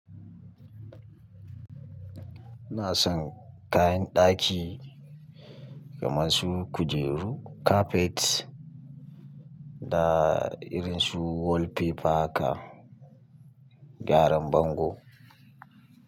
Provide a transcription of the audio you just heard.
Ina son kayan ɗaki kamar su kujeru, kafet da irin su wallpaper haka, gyaran bango.